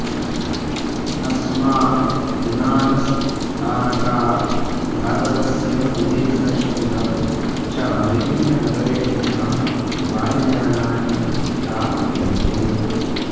अस्मात् विमानस्थानकात् भारतस्य विदेशस्य च विभिन्ननगरेभ्यः वायुयानानि प्राप्यन्ते